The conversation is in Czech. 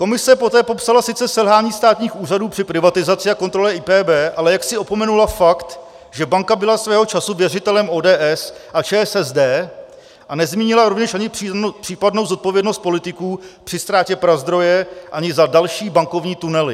Komise poté popsala sice selhání státních úřadů při privatizaci a kontrole IPB, ale jaksi opomenula fakt, že banka byla svého času věřitelem ODS a ČSSD, a nezmínila rovněž ani případnou zodpovědnost politiků při ztrátě Prazdroje, ani za další bankovní tunely.